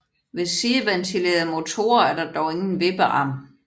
Ved sideventilede motorer er der dog ingen vippearm